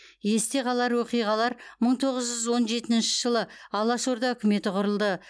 есте қалар оқиғалар мың тоғыз жүз он жетінші жылы алаш орда үкіметі құрылды